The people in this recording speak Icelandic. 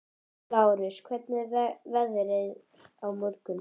Lárus, hvernig verður veðrið á morgun?